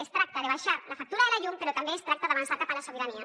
es tracta d’abaixar la factura de la llum però també es tracta d’avançar cap a la sobirania